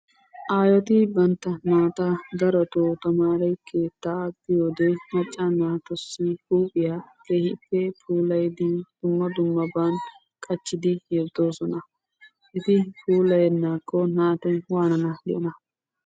Aayeti bantta naata darotoo tamaare keettaa biyode macca naatussi huuphiya keehippe puulayidi dumma dummaban qachchidi yeddoosona. Eti puulayennaakko naati waananawu diyonaa?